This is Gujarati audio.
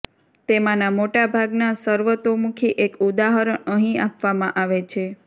તેમાંના મોટા ભાગના સર્વતોમુખી એક ઉદાહરણ અહીં આપવામાં આવે છે